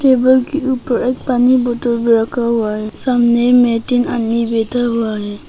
Table के ऊपर एक पानी बोतल भी रखा हुआ है सामने में तीन आदमी बैठा हुआ है।